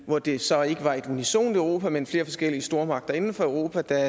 hvor det så ikke var et unisont europa men flere forskellige stormagter inden for europa der